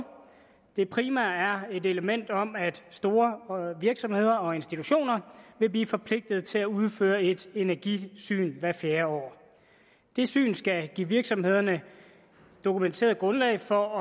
det primære er et element om at store virksomheder og institutioner vil blive forpligtet til at udføre et energisyn hvert fjerde år det syn skal give virksomhederne dokumenteret grundlag for at